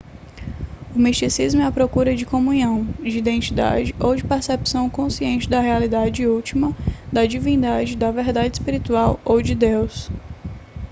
o misticismo é a procura de comunhão de identidade ou de percepção consciente da realidade última da divindade da verdade espiritual ou de deus